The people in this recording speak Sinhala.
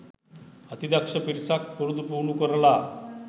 අති දක්ෂ පිරිසක් පුරුදු පුහුණු කරලා